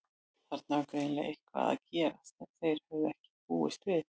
Þarna var greinilega eitthvað að gerast sem þeir höfðu ekki búist við.